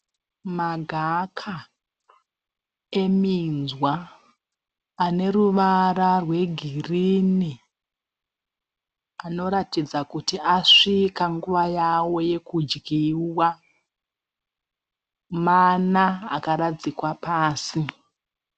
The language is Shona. Magaka eminzwa, ane ruvara rwe girinhi. Anoratidza kuti asvika nguva yavo yekudyiwa. Mana akaradzikwa pasi.